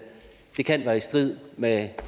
det kan være i strid med